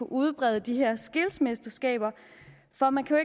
udbrede de her skillsmesterskaber for man kan